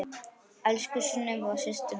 Elsku Sunneva systir mín.